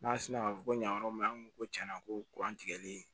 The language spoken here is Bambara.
N'a sina ka fɔ ko ɲa yɔrɔ min an ko ko tiɲɛna ko kuran tigɛli